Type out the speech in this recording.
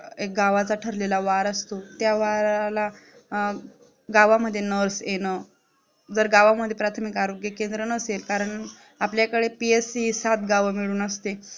एक गावाचा ठरलेला वार असतो त्या वाराला गावामध्ये Nurse येणं जर गावामध्ये प्राथमिक आरोग्य केंद्र नसेल कारण आपल्याकडे PSC हि सात गावामिळून असते